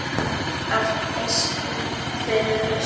Karl Eskil: Hvað er næst á óskalistanum hjá þér?